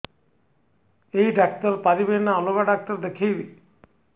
ଏଇ ଡ଼ାକ୍ତର ପାରିବେ ନା ଅଲଗା ଡ଼ାକ୍ତର ଦେଖେଇବି